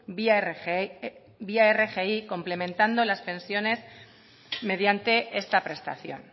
vía rgi complementando las pensiones mediante esta prestación